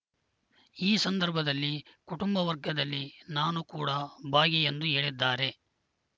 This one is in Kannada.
ಈ ಸಂದರ್ಭದಲ್ಲಿ ಕುಟುಂಬ ವರ್ಗದಲ್ಲಿ ನಾನೂ ಕೂಡಾ ಭಾಗಿ ಎಂದು ಹೇಳಿದ್ದಾರೆ